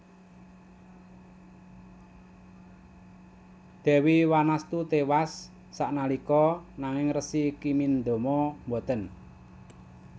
Dewi Wanastu tewas saknalika nanging Resi Kimindama boten